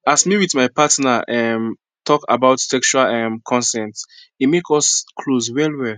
as me with my partner um talk about sexual um consent e come make us close well well